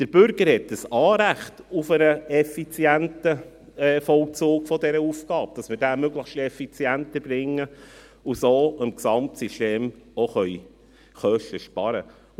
Der Bürger hat ein Anrecht auf einen effizienten Vollzug dieser Aufgabe, damit dieser möglichst effizient erbracht wird und so im Gesamtsystem Kosten eingespart werden können.